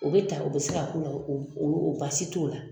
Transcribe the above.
o bɛ ta o bɛ se ka k'u la o o o basi t'o la.